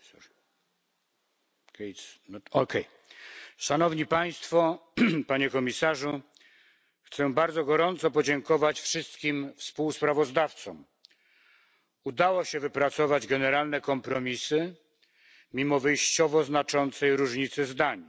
Pani Przewodnicząca, Szanowni Państwo, Panie Komisarzu. Chciałem bardzo gorąco podziękować wszystkim współsprawozdawcom. Udało się wypracować generalne kompromisy mimo wyjściowo znaczącej różnicy zdań.